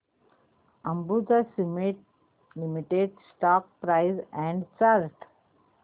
Ambuja Cement Limited stock price and chart